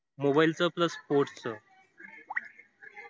mobile च plus sports च.